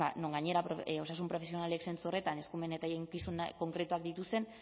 non gainera osasun profesionalek zentzu horretan eskumen eta eginkizun konkretuak dituzten